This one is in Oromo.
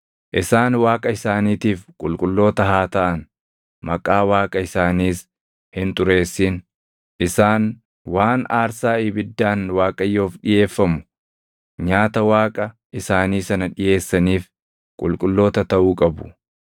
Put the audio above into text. Isaan Waaqa isaaniitiif qulqulloota haa taʼan; maqaa Waaqa isaaniis hin xureessin. Isaan waan aarsaa ibiddaan Waaqayyoof dhiʼeeffamu, nyaata Waaqa isaanii sana dhiʼeessaniif qulqulloota taʼuu qabu.